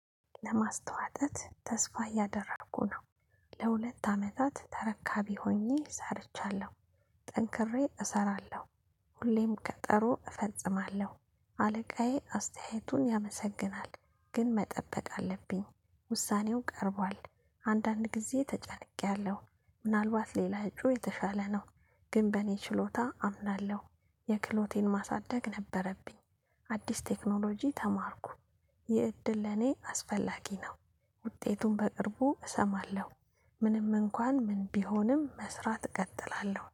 ለማስተዋጠት ተስፋ እያደረኩ ነው። ለሁለት አመታት ተረካቢ ሆኜ ሰርቻለሁ። ጠንክሬ እሰራለሁ። ሁሌም ቀጠሮ እፈጽማለሁ አለቃዬ አስተያየቱን ያመሰግናል ግን መጠበቅ አለብኝ። ውሳኔው ቀርቧል አንዳንድ ጊዜ ተጨንቄያለሁ። ምናልባት ሌላ እጩ የተሻለ ነው። ግን በእኔ ችሎታ አምናለሁ። የክህሎቴን ማሳደግ ነበረብኝ። አዲስ ቴክኖሎጂ ተማርኩ። ይህ እድል ለኔ አስፈላጊ ነው። ውጤቱን በቅርቡ እሰማለሁ። ምንም እንኳን ምን ቢሆንም መስራት እቀጥላለሁ